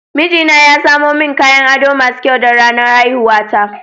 Mijina ya samo min kayan ado masu kyau don ranar haihuwata.